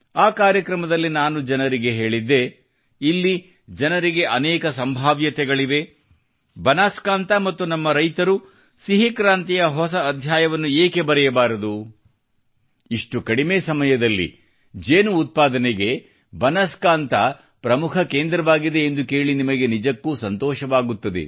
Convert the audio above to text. ಆ ಕಾರ್ಯಕ್ರಮದಲ್ಲಿ ನಾನು ಜನರಲ್ಲಿ ಹೀಗೆ ಕೇಳಿದ್ದೆ ಇಲ್ಲಿ ಅನೇಕ ಸಂಭಾವ್ಯತೆಗಳಿವೆ ಬನಾಸ್ಕಾಂತಾ ಮತ್ತು ಇಲ್ಲಿನ ನಮ್ಮ ರೈತರು ಸಿಹಿ ಕ್ರಾಂತಿಯ ಹೊಸ ಅಧ್ಯಾಯವನ್ನು ಏಕೆ ಬರೆಯಬಾರದು ಇಷ್ಟು ಕಡಿಮೆ ಸಮಯದಲ್ಲಿ ಜೇನು ಉತ್ಪಾದನೆಗೆ ಬನಾಸ್ಕಾಂತ ಪ್ರಮುಖ ಕೇಂದ್ರವಾಗಿದೆ ಎಂದು ಕೇಳಿ ನಿಮಗೆ ನಿಜಕ್ಕೂ ಸಂತೋಷವಾಗುತ್ತದೆ